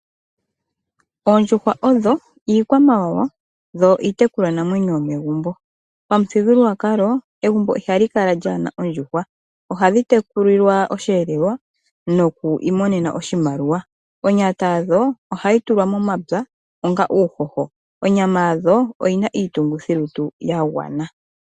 Oondjuhwa odho ikwamawawa dho itekulwa namwenyo yomegumbo, pamuthingululwakalo egumbo ihalikala lyana ondjuhwa ohadhi tekulilwa oshelelwa nokwimonena oshimaliwa, onyata yadho ohayi tulwa momapya onga uuhoho, onyama yadho oyi na itungithi lutu yangwana.